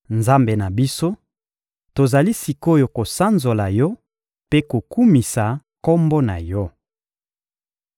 Nzambe na biso, tozali sik’oyo kosanzola Yo mpe kokumisa Kombo na Yo.